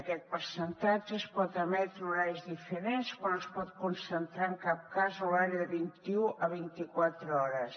aquest percentatge es pot emetre en horaris diferents però no es pot concentrar en cap cas en un horari de vint un a vint quatre hores